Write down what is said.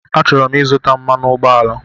Achọrọ m izuta mmanụ ụgbọala